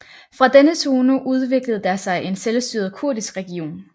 Fra denne zone udviklede der sig en selvstyret kurdisk region